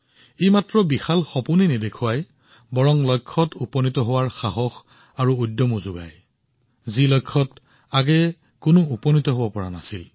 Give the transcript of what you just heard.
ই কেৱল বৃহৎ সপোনেই নহয় লগতে এনে এটা লক্ষ্যত উপনীত হোৱাৰ সাহস প্ৰদৰ্শন কৰে যত আগতে কোনেও উপনীত হব পৰা নাছিল